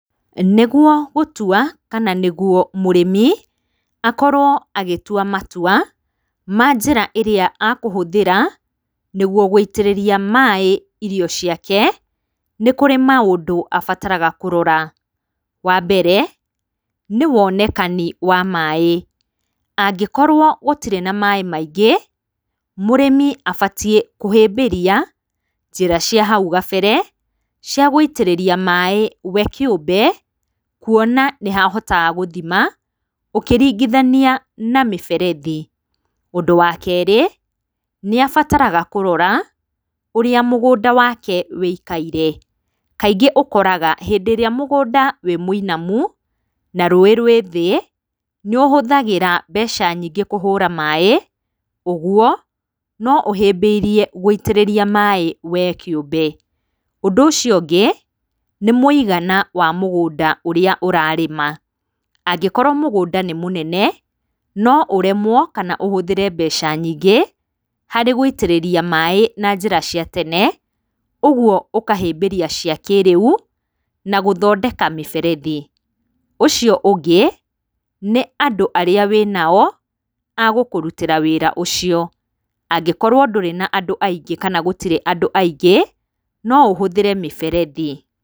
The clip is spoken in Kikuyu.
Nĩguo gũtua kana nĩguo mũrĩmi akorwo agĩtua matua ma njĩra irĩa makũhũthĩra nĩguo gũitĩrĩria maĩ irio ciake nĩkũrĩ maũndũ abataraga kũrora, wambere nĩwonekani wa maĩ, angĩkorwo gũtirĩ na maĩ maingĩ mũrĩmi abatie kũhĩbĩria njĩra cia hau kabere cia gũitĩrĩria maĩ we kĩũmbe kũona nĩhahotaga gũthima ũkĩringithania na mĩberethi, ũndũ wa kerĩ nĩabataraga kũrora ũrĩa mũgũnda wake ũikare, kaingĩ ũkoraga hĩndĩ ĩrĩa mũgũnda ũmwinamu na rũĩ rwĩ thĩ nĩũhũthagĩra mbeca nyingĩ kũhũra maĩ ũguo, noũhĩbĩirie gũitĩrĩria maĩ we kĩũmbe, ũndũ ũcio ũngĩ nĩmũigana wamũnda ũrĩa ũrarĩma ,angĩkorwo mũgũnda nĩ mũnene noũremwo kana ũhũthĩre mbeca nyingĩ harĩ gũitĩrĩria maĩ na njĩra cia tene ũgio ũkahĩmbĩria cia kĩrĩu na gũthondeka mĩberethi ,ũcio ũngĩ nĩ andũ arĩa wĩnao agũkũrũtĩra wĩra ũcio, angĩkorwo ndũrĩ na andũ aingĩ kana gũtirĩ andũ aingĩ noũhũthĩre mĩberethi.